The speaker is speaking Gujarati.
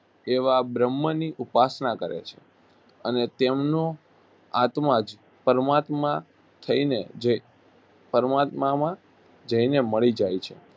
તેવા બ્રહ્મની ઉપાસના કરે છે અને તેમનો આત્મા જ પરમાત્મા થઈને જે પરમાત્મામાં જઈને મળી જાય છે